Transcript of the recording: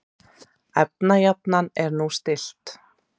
Efnajafnan er nú stillt.